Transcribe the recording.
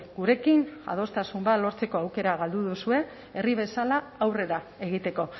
gurekin adostasun bat lortzeko aukera galdu duzue herri bezala aurrera egiteko